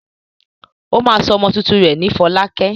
Ó máa sọ ọmọ tuntun rẹ̀ ní Fọlákẹ́.